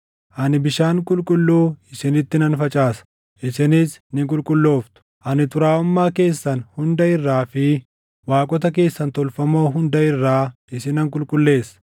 Ani bishaan qulqulluu isinitti nan facaasa; isinis ni qulqullooftu; ani xuraaʼummaa keessan hunda irraa fi waaqota keessan tolfamoo hunda irraa isinan qulqulleessa.